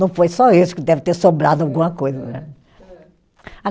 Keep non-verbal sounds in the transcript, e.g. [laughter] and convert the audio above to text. Não foi só isso que deve ter sobrado alguma coisa. [unintelligible]